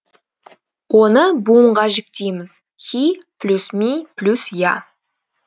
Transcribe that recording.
оны буынға жіктейміз хи плюс ми плюс я